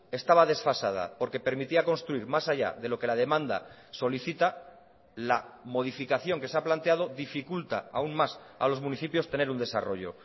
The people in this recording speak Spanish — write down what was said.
estaba desfasada porque permitía construir más allá de lo que la demanda solicita la modificación que se ha planteado dificulta aún más a los municipios tener un desarrollo